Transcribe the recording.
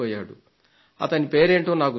అతని పేరేంటో నాకు తెలియదు